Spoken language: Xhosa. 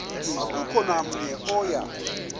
akukho namnye oya